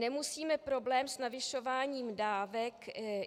Nemusíme problém s navyšováním dávek...